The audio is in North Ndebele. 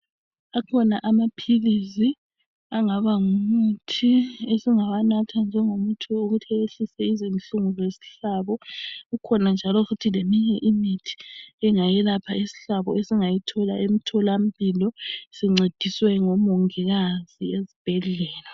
Akhona amaphilisi angaba ngumuthi esingawanatha njengomuthi wokuthi wehlise izinhlungu zesihlabo, kukhona njalo futhi leminye imithi engayelapha isihlabo esingayithola emtholampilo sincediswe ngomongikazi ezibhedlela